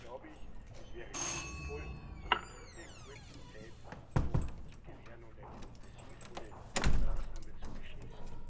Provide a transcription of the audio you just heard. ist. Deswegen glaube ich, es wäre sinnvoll, sich diese kurze Zeit noch zu gewähren und eine sinnvolle Maßnahme zu beschließen.